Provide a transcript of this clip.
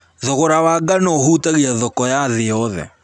Thogora wa ngano ũhutagia thoko ya thĩ yothe